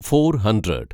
four hundred